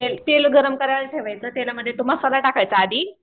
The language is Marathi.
तेल तेल गरम करायला ठेवायचं तेलामध्ये तो मसाला टाकायचा आधी.